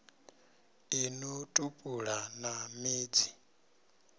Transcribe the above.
ḽi no tupula na midzi